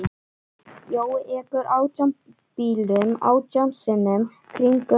Jói ekur átján bílum átján sinnum kringum jörðu.